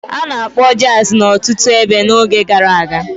A na-akpọ Jazi n'ọtụtụ ebe n'oge gara aga.